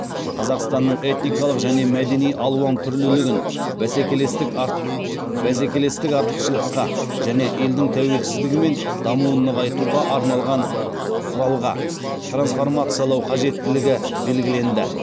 қазақстанның этникалық және мәдени алуан түрлілігін бәсекелестік артықшылыққа және елдің тәуелсіздігі мен дамуын нығайтуға арналған құралға трансформациялау қажеттілігі белгіленді